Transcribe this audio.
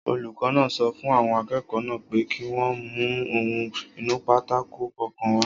Olùkọ́ náà sọ fún àwọn akẹ́kọ̀ọ́ náà pé kí wọ́n mú ohun-ìnúpátákó kọ̀ọ̀kan wá